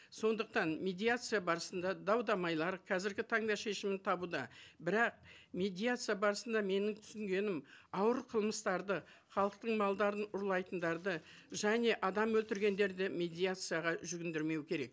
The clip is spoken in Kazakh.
сондықтан медиация барысында дау дамайлар қазіргі таңда шешімін табуда бірақ медиация барысында менің түсінгенім ауыр қылмыстарды халықтың малдарын ұрлайтындарды және адам өлтіргендерді медиацияға жүгіндірмеу керек